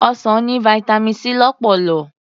Ọsàn ní Vitamin C lọ́pọ̀lọ̀.